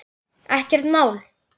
Ekkert mál.